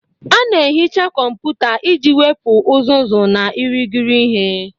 A na-ehicha kọmpụta iji wepụ uzuzu na irighiri ihe.